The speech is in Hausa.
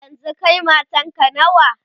yanzun Kai matanka nawa?